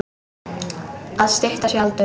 Að stytta sér aldur.